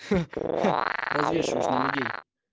ха-ха развешиваешь на людей